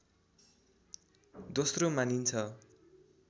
दोस्रो मानिन्छ